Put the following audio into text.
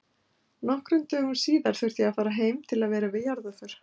Nokkrum dögum síðar þurfti ég að fara heim til að vera við jarðarför.